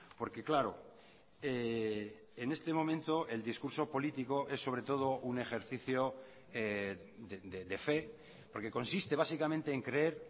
porque claro en este momento el discurso político es sobre todo un ejercicio de fe porque consiste básicamente en creer